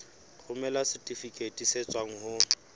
romela setifikeiti se tswang ho